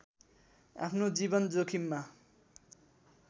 आफ्नो जीवन जोखिममा